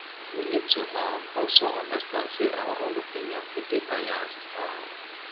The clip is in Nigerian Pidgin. we need to um also understand sey our own opinion fit dey biased um